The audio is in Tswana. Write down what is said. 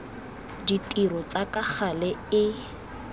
ditiro tsa ka gale e